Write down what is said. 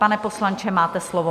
Pane poslanče, máte slovo.